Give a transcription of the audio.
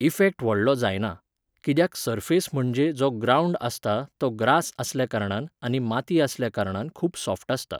Effect व्हडलो जायना. किद्याक सर्फेस म्हणजे जो ग्राउंड आसता तो ग्रास आसल्या कारणान आनी माती आसल्या कारणान खूब सोफ्ट आसता